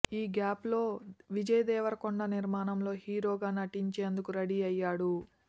ఈ గ్యాప్లో విజయ్ దేవరకొండ నిర్మాణంలో హీరోగా నటించేందుకు రెడీ అయ్యాడు